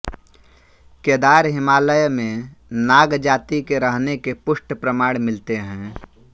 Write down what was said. केदार हिमालय में नाग जाति के रहने के पुष्ट प्रमाण मिलते है